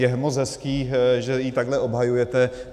Je moc hezké, že ji takhle obhajujete.